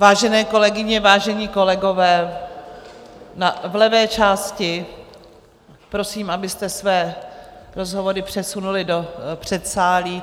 Vážené kolegyně, vážení kolegové v levé části, prosím, abyste své rozhovory přesunuli do předsálí.